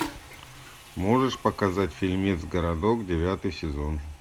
можешь показать фильмец городок девятый сезон